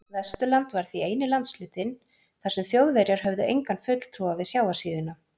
Vesturland var því eini landshlutinn, þar sem Þjóðverjar höfðu engan fulltrúa við sjávarsíðuna.